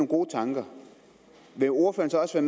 gode tanker vil ordføreren så